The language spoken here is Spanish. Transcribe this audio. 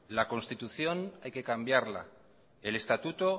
la constitución hay que cambiarla el estatuto